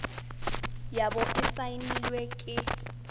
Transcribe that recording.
ya bo e saenilwe ke